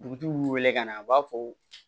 Dugutigiw b'u wele ka na u b'a fɔ